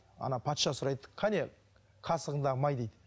ана патша сұрайды қане қасығыңдағы май дейді